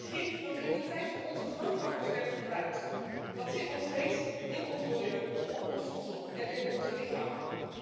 Gif dat in de tijd van onze grootouders werd gebruikt, zit nog steeds in ons milieu, op ons voedsel en in onze lichamen.